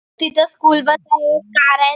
तिथ school bus आहे car आहेत.